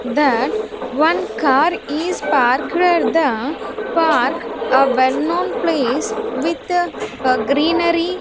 That one car is parked at the park a well-known place with greenery.